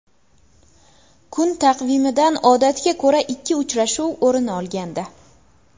Kun taqvimidan odatga ko‘ra ikki uchrashuv o‘rin olgandi.